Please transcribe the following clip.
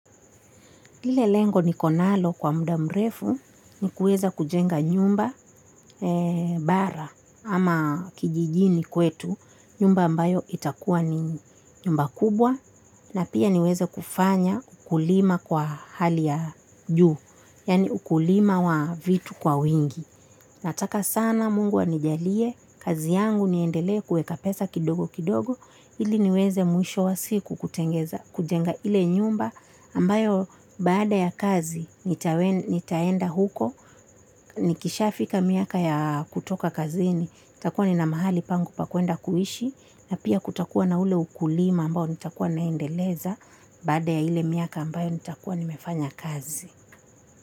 Lile lengo niko nalo kwa muda mrefu ni kuweza kujenga nyumba bara ama kijijini kwetu nyumba ambayo itakuwa ni nyumba kubwa na pia niweze kufanya ukulima kwa hali ya juu, yaani ukulima wa vitu kwa wingi. Nataka sana mungu anijalie, kazi yangu niendelee kuweka pesa kidogo kidogo, ili niweze mwisho wa siku kutengeza, kujenga ile nyumba ambayo baada ya kazi nitaenda huko, nikishafika miaka ya kutoka kazini, nitakuwa nina mahali pangu pa kuenda kuhishi, na pia kutakuwa na ule ukulima ambao nitakuwa naendeleza baada ya ile miaka ambayo nitakuwa nimefanya kazi.